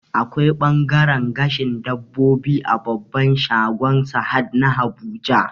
Akwai ɓangaren gashin dabbobi a babban shagon Sahad na Abuja